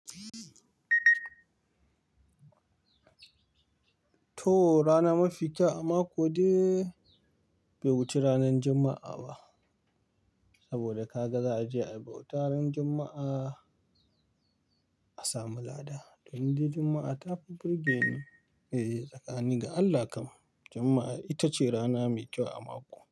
To, rana mafi kyau a mako dai bai wuce ranar Juma'a ba. Saboda ka ga za a ji a bauta ran Juma'a a samu lada. Don dai Juma'a ta fi birgenin, eh tsakanin ga Allah kam. Juma'a ita ce rana mai kyau a mako.